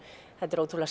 þetta er ótrúlega